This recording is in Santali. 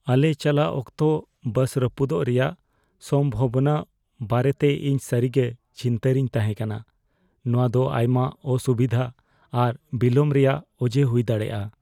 ᱟᱞᱮ ᱪᱟᱞᱟᱜ ᱚᱠᱛᱚ ᱵᱟᱥ ᱨᱟᱹᱯᱩᱫᱚᱜ ᱨᱮᱭᱟᱜ ᱥᱚᱢᱵᱷᱟᱵᱚᱱᱟ ᱵᱟᱨᱮᱛᱮ ᱤᱧ ᱥᱟᱹᱨᱤ ᱜᱮ ᱪᱤᱱᱛᱟᱹ ᱨᱮᱧ ᱛᱟᱦᱮᱸ ᱠᱟᱱᱟ; ᱱᱚᱶᱟ ᱫᱚ ᱟᱭᱢᱟ ᱚᱥᱩᱵᱤᱫᱷᱟ ᱟᱨ ᱵᱤᱞᱚᱢ ᱨᱮᱭᱟᱜ ᱚᱡᱮ ᱦᱩᱭ ᱫᱟᱲᱮᱭᱟᱜᱼᱟ ᱾